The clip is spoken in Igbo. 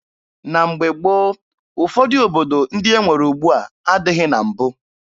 Na mgbe gboo, ụfọdụ obodo ndị e nwere ugbua adịghị na mbụ.